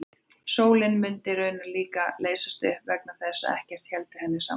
Sólin mundi raunar líka leysast upp vegna þess að ekkert héldi henni saman.